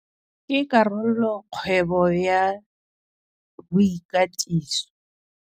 Ke karolo-kgwebo ya boikatiso.